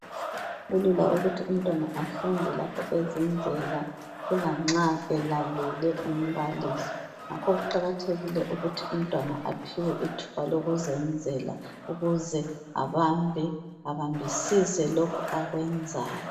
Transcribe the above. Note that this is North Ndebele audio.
Kulula ukuthi umntwana afunde lula nxa kuyikuthi uyazenzela kulokuthi alalele umbalisi wakhe ukuze abambisise lokhu akwenzayo.